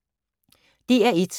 DR1